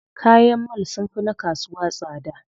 Kayan mall sunfi na kasuwa tsada.